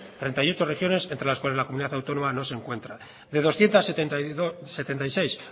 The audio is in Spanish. treinta y ocho regiones entre las cuales nuestra comunidad autónoma no se encuentra de doscientos setenta y seis